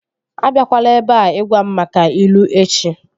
A biakwala ebea ịgwa m maka ilu echi!